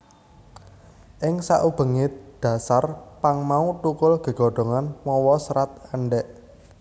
Ing sakubengé dhasar pang mau thukul gegodhongan mawa serat èndhèk